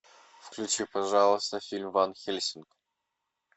включи пожалуйста фильм ванхельсинг